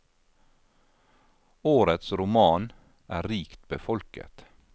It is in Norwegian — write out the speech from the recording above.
Årets roman er rikt befolket.